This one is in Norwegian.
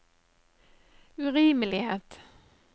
urimelighet